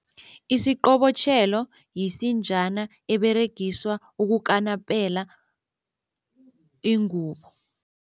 Isiqobotjhelo yisinjana eberegiswa ukukanapela ingubo.